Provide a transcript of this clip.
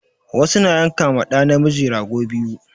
Wasu na yanka ma ɗa namiji rago biyu